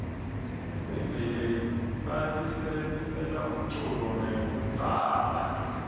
tihsimbi lebatisebentisela umculo takudzala